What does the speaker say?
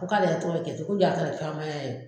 Ko k'ale yɛrɛ tɔgɔ ye kiyatu ko ka kɛra tɔgɔmanya ye